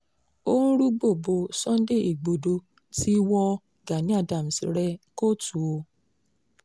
ó ń rúgbòó bo sunday igbodò ti wọ gani adams rẹ̀ kóòtù o